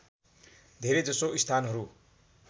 धेरै जसो स्थानहरू